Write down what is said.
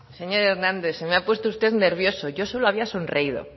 señor hernández se me ha puesto usted nervioso yo solo había sonreído